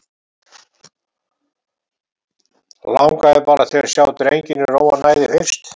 Langaði bara til að sjá drenginn í ró og næði fyrst.